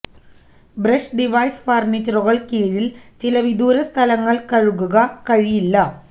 brush device ഫർണിച്ചറുകൾ കീഴിൽ ചില വിദൂര സ്ഥലങ്ങളിൽ കഴുകുക കഴിയില്ല